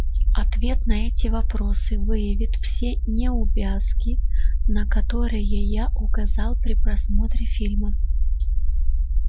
ответ на эти вопросы выявит все неувязки на которые я указал при просмотре фильма